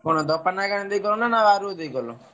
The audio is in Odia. କଣ ଗଲ ନା ବାରୁଅ ଦେଇ ଗଲ?